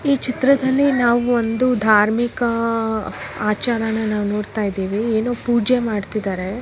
ಈ ಚಿತ್ರದಲ್ಲಿ ನಾವೊಂದು ಧಾರ್ಮಿಕ ಆಚರಣೆಯನ್ನು ನಾವು ನೋಡುತ್ತಿದ್ದೇವೆ ಪೂಜೆ ಮಾಡ್ತಿದ್ದಾರೆ .